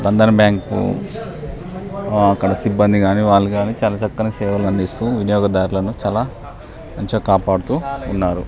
Bandhan bank అక్కడ సిబ్బంది కానీ వారు కానీ చాలా చక్కని సేవలు అందిస్తూ వినియోగదారులను చలా చక్కగా కాపాడుతూ ఉన్నారు